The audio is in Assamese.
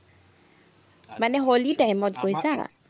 মানে হলি time ত কৈছা?